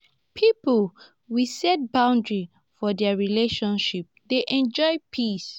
pipo we set boundaries for their relationship dey enjoy peace.